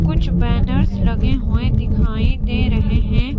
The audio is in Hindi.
कुछ बैनर्स लगे हुए दिखाई दे रहे हैं।